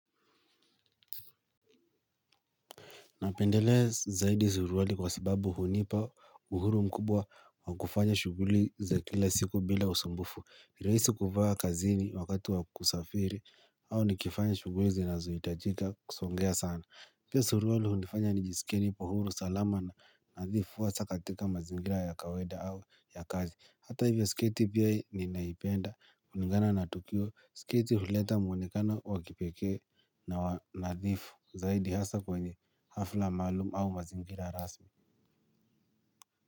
Napendelea zaidi suruali kwa sababu hunipa uhuru mkubwa wa kufanya shuguli za kila siku bila usumbufu. Niraisi kuvaa kazini wakati wa kusafiri au nikifanya shuguli zinazoitajika kusongea sana. Pia suruwlali hunifanya nijisike nipo huru salama na nadhifu hasa katika mazingira ya kawaida au ya kazi. Hata hivyo sketi pia ninaipenda kulingana na tukio sketi huleta muonekano wa kipekee na nadhifu. Zaidi hasa kwenye hafla maalum au mazingira rasmi.